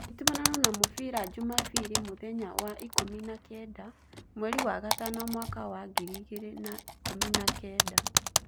Nditimũrano na mũbira njumabiri mũthenya was ikũmi na kenda, mweri wa gatano mwaka was ngiri igĩrĩ na ikũmi na kenda